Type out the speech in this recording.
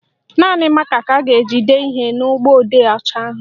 Naanị mákà ka a ga-eji dee ihe na mgbọodee ọcha ahụ